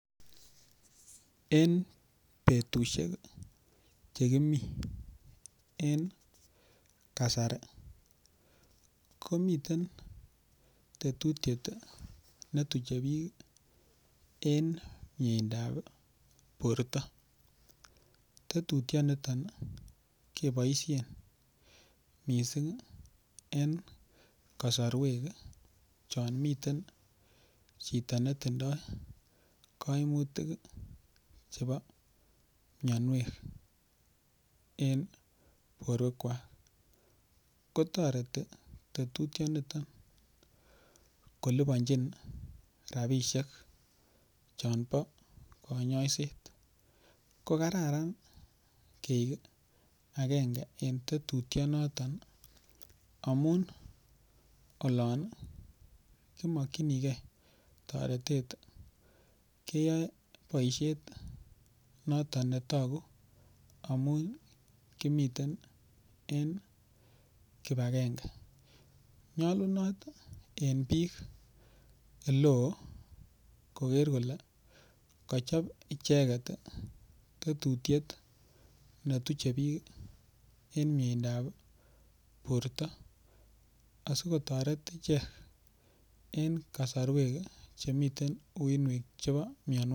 En betushek chekimi en kasari komitei tetutyet netuchei biik eng' mieindoab borto tetutyoniton keboishen mising' en kasarwek chon miten chito netindoi kaimutik chebo miyonwek en borwekwach kotoreti tetutyonito koliponjin rapishek chon bo kanyoiset ko kararan kii agenge eng' tetutyonoton amun olon kimokchinigei toretet keyoei boishet noton netoku amun kimiten en kipagenge nyolunot en biik ole oo koker kole kachop icheget tetutiet netuche biik eng' mieindoab borto asikotoret ichek en kasarwek chemiten uinwek chebo miyonwokik